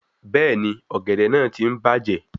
Bẹ́ẹ̀ni, ọ̀gẹ̀dẹ̀ náà ti ń bàjẹ́